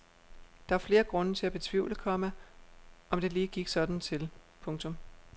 Der er flere grunde til at betvivle, komma om det lige gik sådan til. punktum